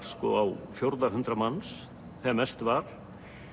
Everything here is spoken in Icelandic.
sko á fjórða hundrað manns þegar mest var